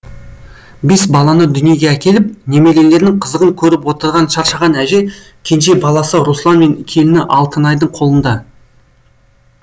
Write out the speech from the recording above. бес баланы дүниеге әкеліп немерелерінің қызығын көріп отырған шаршаған әже кенже баласы руслан мен келіні алтынайдың қолында